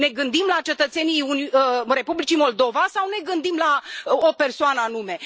Ne gândim la cetățenii Republicii Moldova sau ne gândim la o persoană anume?